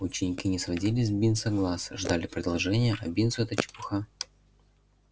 ученики не сводили с бинса глаз ждали продолжения а бинсу эта чепуха